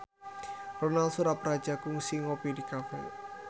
Ronal Surapradja kungsi ngopi di cafe